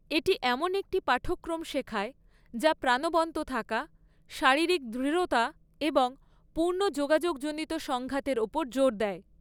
এটি এমন একটি পাঠ্যক্রম শেখায় যা প্রাণবন্ত থাকা, শারীরিক দৃঢ়তা এবং পূর্ণ যোগাযোগজনিত সংঘাতের ওপর জোর দেয়।